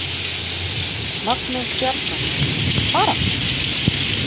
Magnús Bjargarson: Baráttan?